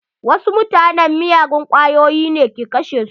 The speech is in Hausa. Wasu mutanen miyagun kwayoyi ke kashe su.